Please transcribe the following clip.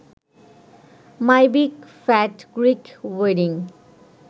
my big fat Greek wedding